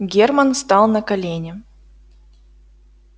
германн стал на колени